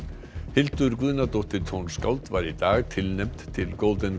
Hildur Guðnadóttir tónskáld var í dag tilnefnd til